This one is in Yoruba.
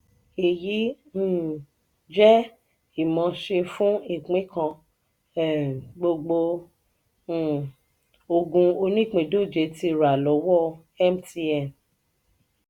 eyi um je imose fún ìpín kan um gbogbo um ogún onipindoje ti rà lowo mtn.